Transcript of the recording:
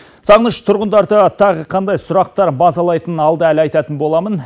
сағыныш тұрғындарды тағы қандай сұрақтар мазалайтынын алда әлі айтатын боламын